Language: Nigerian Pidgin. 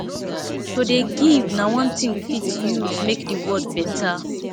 to dey give na one tin we fit use make di world beta